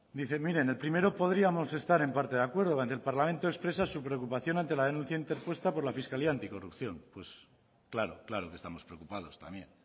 dice mire en el primero podríamos estar en parte de acuerdo el parlamento expresa su preocupación ante la denuncia interpuesta por la fiscalía anticorrupción pues claro claro que estamos preocupados también